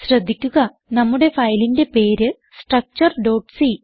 ശ്രദ്ധിക്കുക നമ്മുടെ ഫയലിന്റെ പേര് structureസി